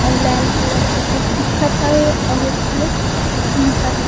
आऊ लाल कलर के कुछ दिखत हवे आऊ एक ठो खम्भा हे।